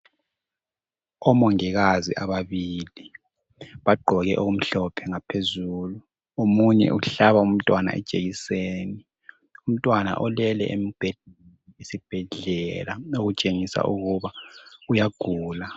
Omongikazi ababili bagqoke okumhlophe ngaphezulu omunye uhlaba umntwana ijekiseni umntwana ulele embhedeni wesibhedlela okutshengisa ukuba uyagula.